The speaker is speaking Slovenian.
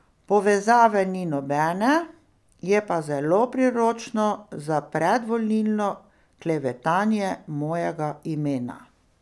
Povezave ni nobene, je pa zelo priročno za predvolilno klevetanje mojega imena.